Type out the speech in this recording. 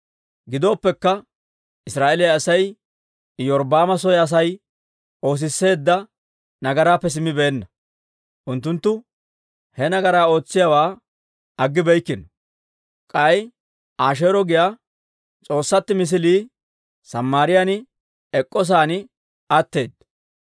Gidooppekka Israa'eeliyaa Asay Iyorbbaama soy Asay oosisseedda nagaraappe simmibeenna; unttunttu he nagaraa ootsiyaawaa aggibeykkino. K'ay Asheero giyaa s'oossatuu misilii Samaariyaan ek'k'o sa'aan atteedda.